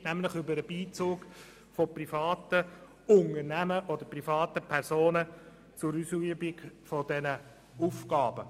Es geht nämlich um den Beizug von privaten Unternehmen oder privaten Personen zur Ausübung dieser Aufgaben.